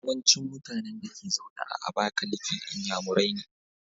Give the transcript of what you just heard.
Yawancin mutAnan Dake zaune a abakaliki inyamurai ne